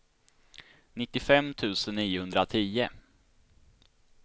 nittiofem tusen niohundratio